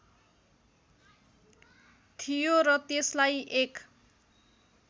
थियो र त्यसलाई एक